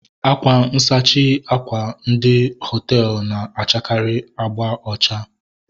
Akwa nsachi àkwà ndị hoteelu na-achakari abga ocha